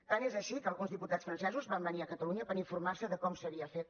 tant és així que alguns diputats francesos van venir a catalunya per informarse de com s’havia fet